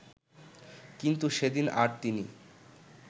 কিন্তু সেদিন আর তিনি